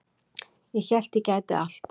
Ég hélt að ég gæti allt